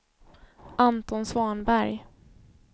Anton Svanberg